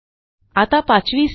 आता पाचवी स्टेप